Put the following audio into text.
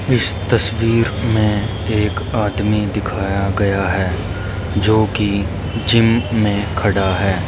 इस तस्वीर में एक आदमी दिखाया गया है जो कि जिम में खड़ा है।